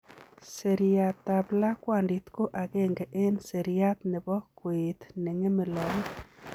Seriatab lakwandit ko agenge en seriat nebo koet neng'eme logok.